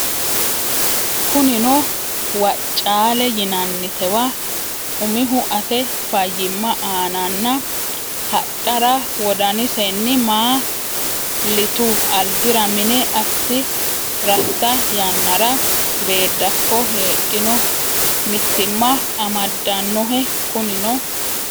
Kunino Woccaale yinannitewa umihu ate fayyimma aananna hadhara wodanisenni ma litu albira mine assi ratta yannara Beeddakko heddino mitiimma amaddannohe Kunino.